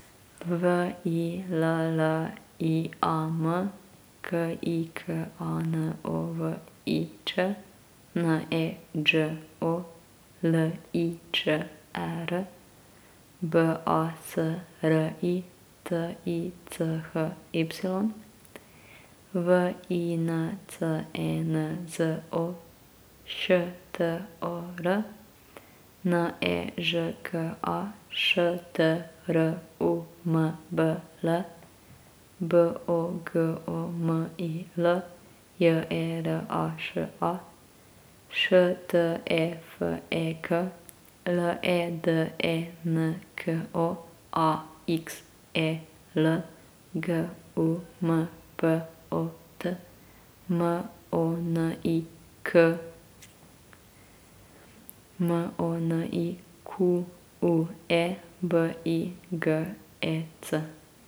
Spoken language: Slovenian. V I L L I A M, K I K A N O V I Ć; N E Đ O, L I Č E R; B A S R I, T I C H Y; V I N C E N Z O, Š T O R; N E Ž K A, Š T R U M B L; B O G O M I L, J E R A Š A; Š T E F E K, L E D E N K O; A X E L, G U M P O T; M O N I K; M O N I Q U E, B I G E C.